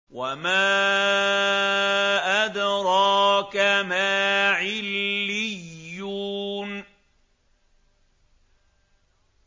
وَمَا أَدْرَاكَ مَا عِلِّيُّونَ